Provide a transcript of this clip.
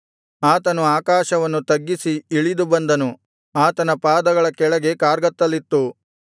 ಆತನು ಆಕಾಶವನ್ನು ತಗ್ಗಿಸಿ ಇಳಿದು ಬಂದನು ಆತನ ಪಾದಗಳ ಕೆಳಗೆ ಕಾರ್ಗತ್ತಲಿತ್ತು